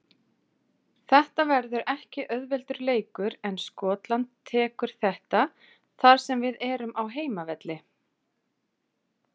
Þetta verður ekki auðveldur leikur en Skotland tekur þetta þar sem við erum á heimavelli.